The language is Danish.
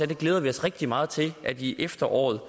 vi glædede os rigtig meget til at i efteråret